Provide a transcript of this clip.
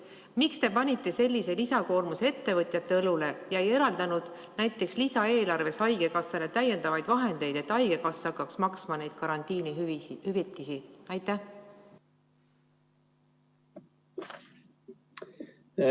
Miks te panite sellise lisakoormuse ettevõtjate õlule ega eraldanud näiteks lisaeelarvest haigekassale täiendavaid vahendeid, et haigekassa hakkaks maksma neid karantiinihüvitisi?